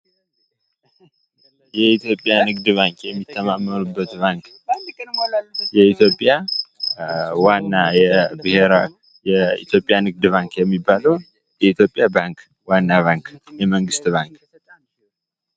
"የኢትዮጵያ ንግድ ባንክ የሚተማመኑበት ባንክ" የኢትዮጵያ ዋና የብሔራዊ የኢትዮጵያ ባንክ የሚባለዉ ዋናዉ የመንግስት ባንክ።